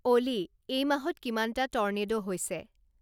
অ'লি, এই মাহত কিমানটা টৰ্নেডো হৈছে